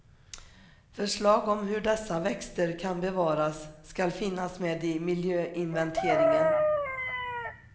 Förslag om hur dessa växter kan bevaras ska finnas med i miljöinventeringen.